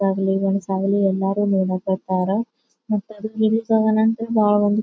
ಆಗ್ಲಿ ಗಂಡ್ಸ ಆಗಲಿ ಎಲ್ಲರೂ ನೋಡಾಕತ್ತಾರ ಮತ್ತ ಅದು .